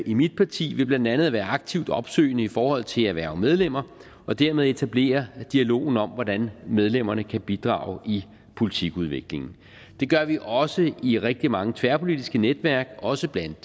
i mit parti ved blandt andet at være aktivt opsøgende i forhold til at hverve medlemmer og dermed etablere dialogen om hvordan medlemmerne kan bidrage i politikudviklingen det gør vi også i rigtig mange tværpolitiske netværk også blandt